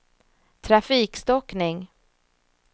trafikstockning